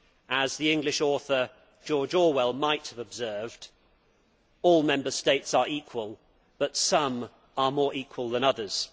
As the English author, George Orwell, might have observed, all Member States are equal, but some are more equal than others.